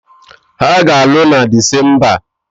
Ha ga-alụ na Disemba